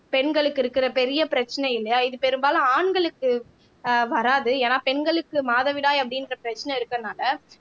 பெண்களுக்கு இருக்கிற பெரிய பிரச்சனை இல்லையா இது பெரும்பாலும் ஆண்களுக்கு அஹ் வராது ஏன்னா பெண்களுக்கு மாதவிடாய் அப்படின்ற பிரச்சனை இருக்கிறதுனாலே